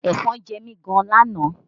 Ẹ̀fọn jẹ mi gan lánàá